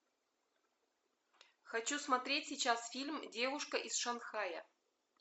хочу смотреть сейчас фильм девушка из шанхая